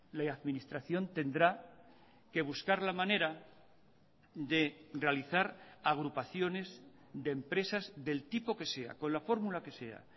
la administración tendrá que buscar la manera de realizar agrupaciones de empresas del tipo que sea con la formula que sea